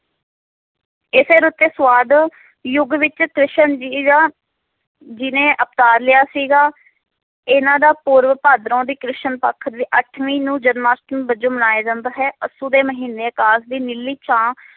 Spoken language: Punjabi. ਇਸੇ ਕਰਕੇ ਸਵਾਦ ਯੁਗ ਵਿਚ ਕ੍ਰਿਸ਼ਨ ਜੀ ਦਾ ਜੀ ਨੇ ਅਵਤਾਰ ਲਿਆ ਸੀਗਾ ਇਹਨਾਂ ਦਾ ਪੂਰਵ ਭਾਦਰੋਂ ਦੀ ਕ੍ਰਿਸ਼ਨ ਪੱਖ ਦੇ ਅੱਠਵੀਂ ਨੂੰ ਜਨ੍ਮਸ਼ਟਮੀ ਵਜੋਂ ਮਨਾਇਆ ਜਾਂਦਾ ਹੈ ਅੱਸੂ ਦੇ ਮਹੀਨੇ ਦੀ ਨੀਲੀ ਛਾਂ